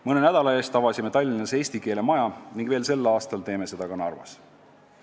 Mõne nädala eest avasime Tallinnas eesti keele maja ning veel tänavu teeme seda ka Narvas.